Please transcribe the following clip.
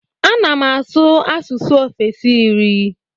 Ana m asụ asụsụ ofesi iri.